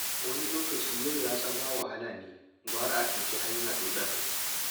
Wani lokacin yin ratse ma wahala ne gwara a ɗauki hanya ɗoɗar.